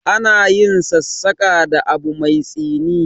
Ana yin sassaƙa da abu mai tsini.